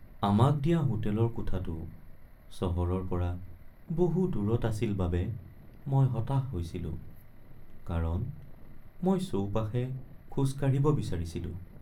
আমাক দিয়া হোটেলৰ কোঠাটো চহৰৰ পৰা বহু দূৰত আছিল বাবে মই হতাশ হৈছিলোঁ কাৰণ মই চৌপাশে খোজ কাঢ়িব বিচাৰিছিলো।